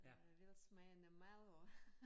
Øh velsmagende mad og